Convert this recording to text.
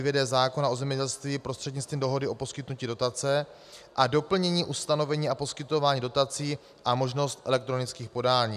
d) zákona o zemědělství prostřednictvím dohody o poskytnutí dotace a doplnění ustanovení a poskytování dotací a možnost elektronických podání.